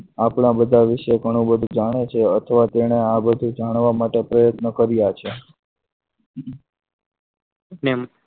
આપણા બધા વિષય ઘણું બધું જાણે છે અથવા તેને આ જાણવા માટે પ્રયત્નો કર્યા છે ને